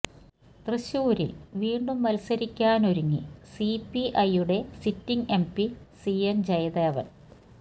തൃശൂരില് വീണ്ടും മത്സരിക്കാനൊരുങ്ങി സിപിഐയുടെ sitting MP C N Jayadevan